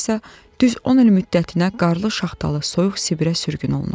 Sonra isə düz 10 il müddətinə qarlı, şaxtalı, soyuq Sibirə sürgün olunub.